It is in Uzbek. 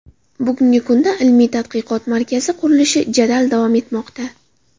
Bugungi kunda ilmiy-tadqiqot markazi qurilishi jadal davom etmoqda.